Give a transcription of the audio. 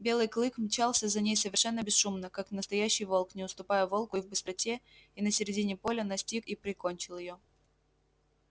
белый клык мчался за ней совершенно бесшумно как настоящий волк не уступая волку и в быстроте и на середине поля настиг и прикончил её